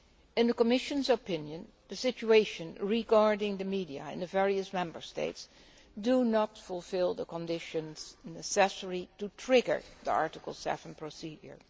In the Commission's opinion, the situation regarding the media in the various Member States does not fulfil the conditions necessary to trigger the Article 7 procedure.